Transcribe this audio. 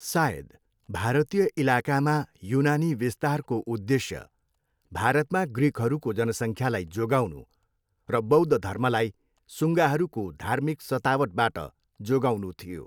सायद, भारतीय इलाकामा युनानी विस्तारको उद्देश्य भारतमा ग्रिकहरूको जनसङ्ख्यालाई जोगाउनु र बौद्ध धर्मलाई सुङ्गाहरूको धार्मिक सतावटबाट जोगाउनु थियो।